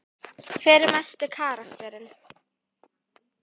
Hver er mesti karakterinn?